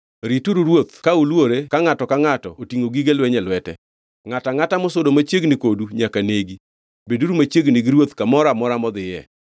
Rituru ruoth ka ulwore ka ngʼato ka ngʼato otingʼo gige lweny e lwete. Ngʼato angʼata mosudo machiegni kodu nyaka negi. Beduru machiegni gi ruoth kamoro amora modhiye.”